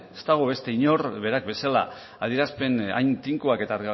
ez dago beste inork berak bezala adierazpen hain tinkoak eta